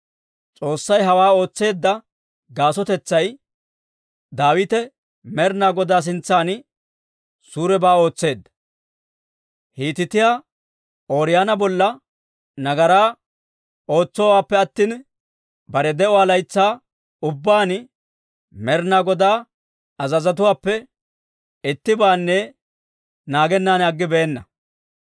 S'oossay hawaa ootseedda gaasotay, Daawite Med'inaa Godaa sintsan suurebaa ootseedda; Hiitiyaa Ooriyoona bolla nagaraa ootsoonippe attina, bare de'uwaa laytsaa ubbaan Med'inaa Godaa azazotuwaappe ittibaanne naagennan aggibeenna.